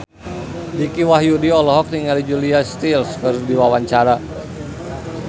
Dicky Wahyudi olohok ningali Julia Stiles keur diwawancara